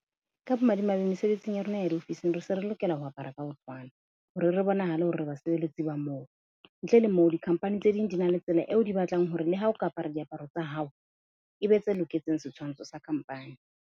Ka bomadimabe, mesebetsing ya rona ya diofising re se re lokela ho apara ka ho tshwana hore re bonahale hore re basebeletsi ba moo. Ntle le moo di-company tse ding di na le tsela eo di batlang hore le ha o ka apara diaparo tsa hao, e be tse loketseng setshwantsho sa company.